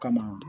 Kama